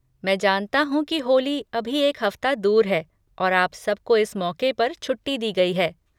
मैं जानता हूँ कि होली अभी एक हफ़्ता दूर है और आप सबको इस मौक़े पर छुट्टी दी गई है।